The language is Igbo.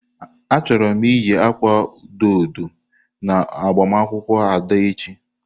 Achọrọ m iyi akwa odo odo na agbamakwụkwọ Ada echi.